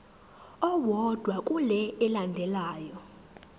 owodwa kule elandelayo